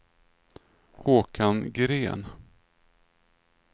Håkan Gren